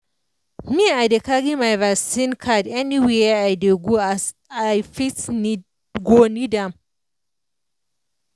me i dey carry my vaccine card anywhere i dey go as i fit go need am.